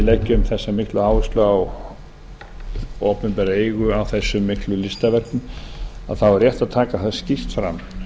leggjum þessa mikinn áherslu á opinbera eigu á þessum miklu listaverkum er rétt að taka það skýrt fram